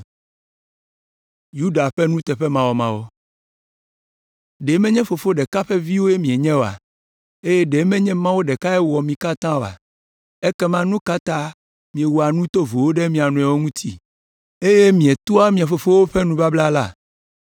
Ɖe menye fofo ɖeka ƒe viwoe míenye oa? Eye ɖe menye Mawu ɖekae wɔ mí katã oa? Ekema nu ka ta míewɔa nu tovowo ɖe mía nɔewo ŋuti, eye míetua mía fofowo ƒe nubabla la?